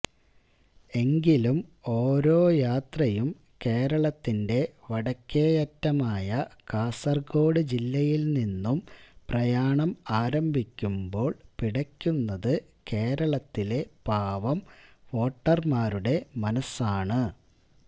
എങ്കിലും ഓരോ യാത്രയും കേരളത്തിന്റെ വടക്കേയറ്റമായ കാസര്കോട് ജില്ലയില് നിന്നും പ്രയാണം ആരംഭിക്കുമ്പോള് പിടയ്ക്കുന്നത് കേരളത്തിലെ പാവം വോട്ടര്മാരുടെ മനസ്സാണ്